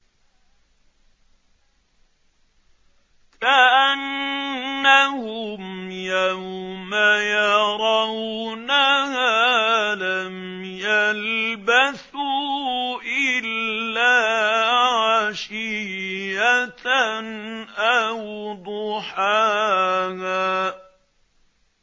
كَأَنَّهُمْ يَوْمَ يَرَوْنَهَا لَمْ يَلْبَثُوا إِلَّا عَشِيَّةً أَوْ ضُحَاهَا